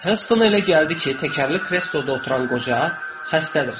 Heston elə gəldi ki, təkərli krestoda oturan qoca xəstədir.